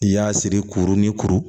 N'i y'a siri kuru ni kuru